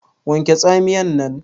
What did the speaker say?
Wanke Tsamiyar nan!